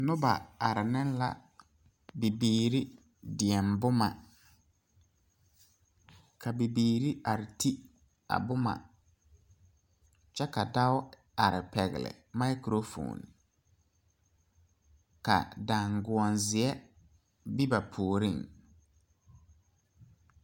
Sããmo la sãã ka kõɔ gaŋ ka kyɛnserre yagre ka dɔbɔ ne pɔɔbɔ are ka dɔɔ be kõɔŋ ka pɔɔ meŋ ve a kõɔŋ ka poole a ba ka. teere a are.